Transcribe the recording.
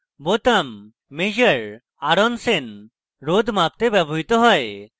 measure r on sen বোতাম রোধ মাপতে ব্যবহৃত হয়